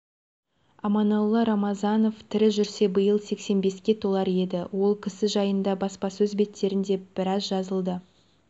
аманолла рамазанов тірі жүрсе биыл сексен беске толар еді ол кісі жайында баспасөз беттерінде біраз жазылды